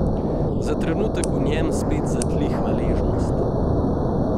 Za trenutek v njem spet zatli hvaležnost.